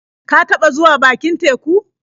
Ka taɓa zuwa bakin teku?